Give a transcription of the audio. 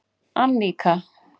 Annika